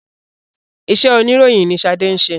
Ìṣe oníròyìn ni ṣade ń ṣe